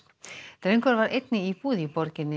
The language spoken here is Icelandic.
drengurinn var einn í íbúð í borginni